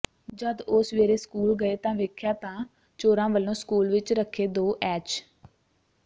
ਜਦ ਉਹ ਸਵੇਰੇ ਸਕੂਲ ਗਏ ਤਾਂ ਵੇਖਿਆ ਤਾ ਚੋਰਾਂ ਵਲੋਂ ਸਕੂਲ ਵਿਚ ਰੱਖੇ ਦੋ ਐਚ